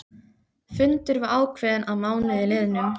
Fundur var ákveðinn að mánuði liðnum.